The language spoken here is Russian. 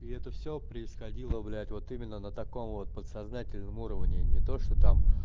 и это все происходило блять вот именно на таком вот подсознательном уровне не то что там